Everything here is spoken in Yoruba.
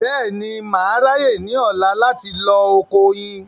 Bẹ́ẹ̀ni, mà á ráyè ní ọ̀la láti lọ oko oyin